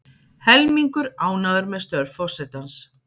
Helmingur ánægður með störf forsetans